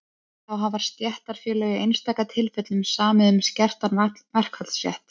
þá hafa stéttarfélög í einstaka tilfellum samið um skertan verkfallsrétt